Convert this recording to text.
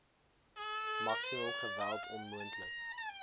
maksimum geweld onmoontlik